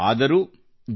ಆದರೂ ಜೆ